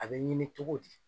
A be ɲini cogo di?